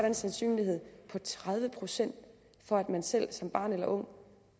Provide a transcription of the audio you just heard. en sandsynlighed på tredive procent for at man selv som barn eller ung